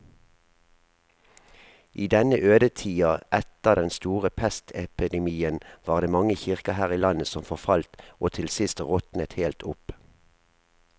I denne ødetida etter den store pestepidemien var det mange kirker her i landet som forfalt og til sist råtnet helt opp.